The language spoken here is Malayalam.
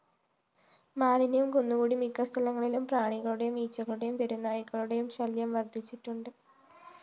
മാലിന്യം കുന്നുകൂടി മിക്കസ്ഥലങ്ങളിലും പ്രാണികളുടെയും ഈച്ചകളുടെയും തെരുവ്‌നായ്ക്കളുടെ ശല്യം വര്‍ധിച്ചിട്ടുണ്ട്